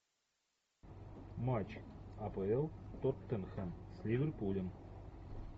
матч апл тоттенхэм с ливерпулем